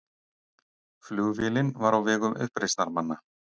Flugvélin var á vegum uppreisnarmanna